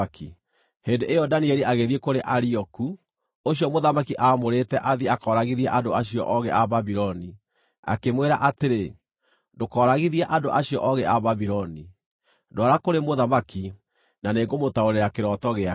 Hĩndĩ ĩyo Danieli agĩthiĩ kũrĩ Arioku, ũcio mũthamaki aamũrĩte athiĩ akooragithie andũ acio oogĩ a Babuloni, akĩmwĩra atĩrĩ, “Ndũkooragithie andũ acio oogĩ a Babuloni. Ndwara kũrĩ mũthamaki, na nĩngũmũtaũrĩra kĩroto gĩake.”